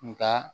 Nga